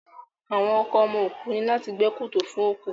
Àwọn ọkọ ọmọ òkú ní láti gbẹ́ kòtò fún òkú